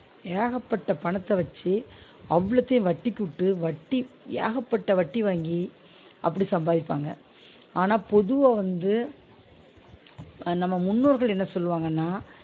ஏகப்பட்ட பணத்த வச்சு அவ்ளத்தயு வட்டிக்கு விட்டு வட்டி ஏகப்பட்ட வட்டி வாங்கி அப்டி சம்பாதிப்பாங்க ஆனா பொதுவா வந்து நம்ம முன்னோர்கள் என்ன சொல்வாங்கனா?